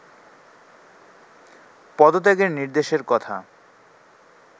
পদত্যাগের নির্দেশের কথা